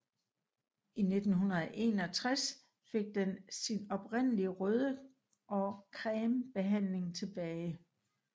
I 1961 fik den sin oprindelige røde og creme bemaling tilbage